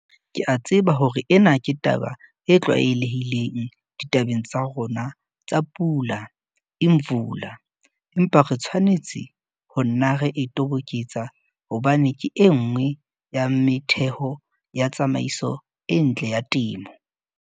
Ke a tseba hore ena ke taba e tlwaelehileng ditabeng tsa rona tsa Pula Imvula empa re tshwanetse ho nna re e toboketsa hobane ke e nngwe ya metheho ya tsamaiso e ntle ya temo.